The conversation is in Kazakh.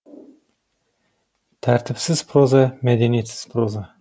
тәртіпсіз проза мәдениетсіз проза